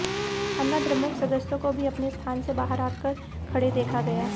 अन्नाद्रमुक सदस्यों को भी अपने स्थान से बाहर आकर खड़े देखा गया